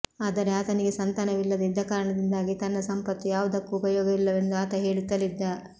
ಆದರೆ ಆತನಿಗೆ ಸಂತಾನವಿಲ್ಲದೆ ಇದ್ದ ಕಾರಣದಿಂದಾಗಿ ತನ್ನ ಸಂಪತ್ತು ಯಾವುದಕ್ಕೂ ಉಪಯೋಗವಿಲ್ಲವೆಂದು ಆತ ಹೇಳುತ್ತಲಿದ್ದ